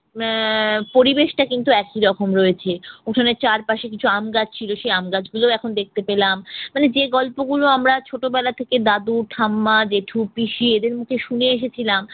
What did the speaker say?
আহ পরিবেশটা কিন্তু একি রকম রয়েছে। উঠানের চারপাশে কিছু আম গাছ ছিল সে আম গাছগুলো এখন দেখতে পেলাম। মানে যে গল্পগুলো আমরা ছোটবেলা থেকে দাদু, ঠাম্মা, জেঠু, পিসি এদের মুখে শুনে এসেছিলাম